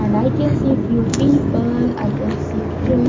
And i can see few people i can see tree.